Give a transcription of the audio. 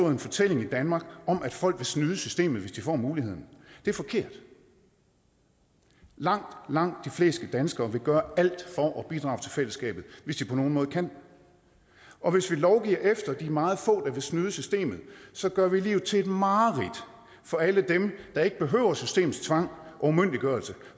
en fortælling i danmark om at folk vil snyde systemet hvis de får muligheden det er forkert langt langt de fleste danskere vil gøre alt for at bidrage til fællesskabet hvis de på nogen måde kan og hvis vi lovgiver efter de meget få der vil snyde systemet så gør vi livet til et mareridt for alle dem der ikke behøver systemets tvang og umyndiggørelse